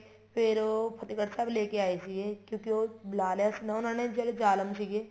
ਫ਼ੇਰ ਉਹ ਫਤਿਹਗੜ੍ਹ ਸਾਹਿਬ ਲੈਕੇ ਆਏ ਸੀਗੇ ਕਿਉਂਕਿ ਉਹ ਬੁਲਾ ਲਿਆ ਸੀ ਨਾ ਉਹਨਾ ਨੇ ਜਿਹੜੇ ਜਾਲਮ ਸੀਗੇ